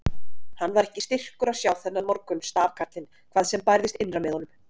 Hann var ekki styrkur að sjá þennan morgun stafkarlinn hvað sem bærðist innra með honum.